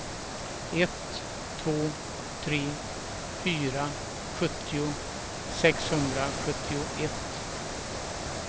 ett två tre fyra sjuttio sexhundrasjuttioett